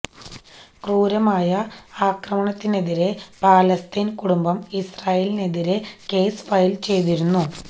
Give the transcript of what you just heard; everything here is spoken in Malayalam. ക്രൂരമായ ആക്രമണത്തിനെതിരേ ഫലസ്തീന് കുടുംബം ഇസ്രായേലിനെതിരെ കേസ് ഫയല് ചെയ്തിരുന്നു